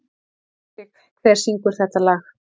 Rúrik, hver syngur þetta lag?